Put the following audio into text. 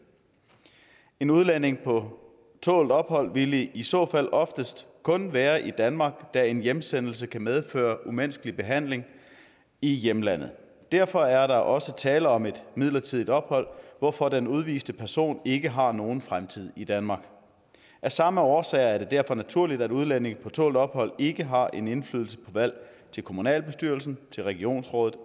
en udlænding på tålt ophold ville i så fald oftest kun være i danmark da en hjemsendelse kan medføre umenneskelig behandling i hjemlandet derfor er der også tale om et midlertidigt ophold hvorfor den udviste person ikke har nogen fremtid i danmark af samme årsager er det derfor naturligt at udlændinge på tålt ophold ikke har en indflydelse på valg til kommunalbestyrelsen til regionsrådet